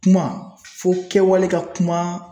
Kuma fo kɛwale ka kuma